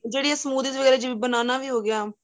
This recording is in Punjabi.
ਜਿਹੜੀ ਏ ਜਿਵੇਂ banana ਵੀ ਹੋ ਗਿਆ